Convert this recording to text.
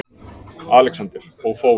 ALEXANDER: Og fór!